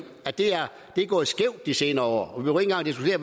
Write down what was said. at det er gået skævt de senere